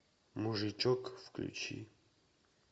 мужичок включи